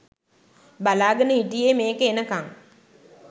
බලාගෙන හිටියේ මේක එනකං.